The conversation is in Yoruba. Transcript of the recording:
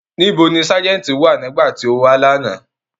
Nibo ni Sájẹ̀ntì wa nigbati o wa lana?